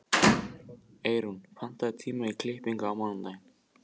Eyrún, pantaðu tíma í klippingu á mánudaginn.